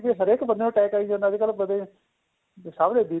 ਹਰੇਕ ਬੰਦੇ ਨੂੰ attack ਆਈ ਜਾਂਦਾ ਅੱਜਕਲ ਸਭ ਦੇ BP